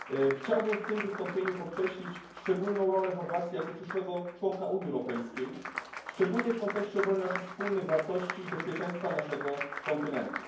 Chciałbym w tym wystąpieniu podkreślić szczególną rolę Chorwacji jako przyszłego członka Unii Europejskiej, szczególnie w kontekście obrony naszych wspólnych wartości i bezpieczeństwa naszego kontynentu.